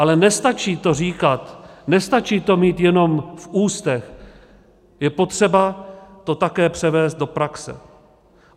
Ale nestačí to říkat, nestačí to mít jenom v ústech, je potřeba to také převést do praxe.